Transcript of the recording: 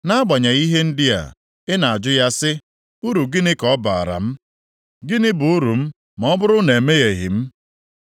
Nʼagbanyeghị ihe ndị a, ị na-ajụ ya si, ‘Uru gịnị ka ọ baara m, gịnị bụ uru m ma ọ bụrụ na emehieghị m?’